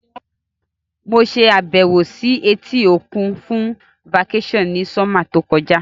Mo sàbẹ̀wò si etí òkun fun vacation ni summer to kojá